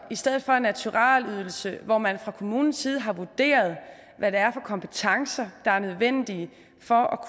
i stedet for en naturalydelse hvor man fra kommunens side har vurderet hvad det er for kompetencer der er nødvendige for